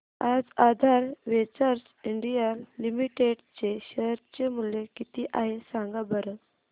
आज Aadhaar ventures India limited चे share चे मूल्य किती आहे सांगा बरं